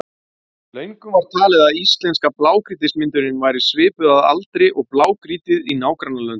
Löngum var talið að íslenska blágrýtismyndunin væri svipuð að aldri og blágrýtið í nágrannalöndunum.